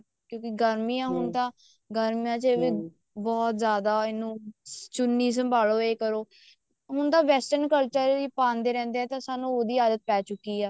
ਕਿਉਂਕੀ ਗਰਮੀਆਂ ਹੁਣ ਤਾਂ ਗਰਮੀਆਂ ਚ ਵੀ ਬਹੁਤ ਜ਼ਿਆਦਾ ਇਹਨੂੰ ਚੁੰਨੀ ਸੰਭਾਲੋ ਇਹ ਕਰੋਂ ਹੁਣ ਤਾਂ western culture ਪਾਉਂਦੇ ਰਹਿੰਦੇ ਹਾਂ ਸਾਨੂੰ ਉਹਦੀ ਆਦਤ ਪੈ ਚੁੱਕੀ ਆ